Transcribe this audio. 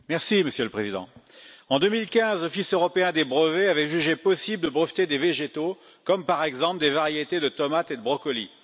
Monsieur le président, en 2015, l'Office européen des brevets avait jugé possible de breveter des végétaux, comme par exemple des variétés de tomates et de brocolis.